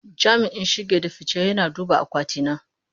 Jami'in shige da fice yana duba akwati na.